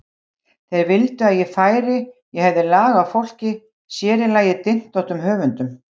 Þeir vildu að ég færi, ég hefði lag á fólki, sér í lagi dyntóttum höfundum.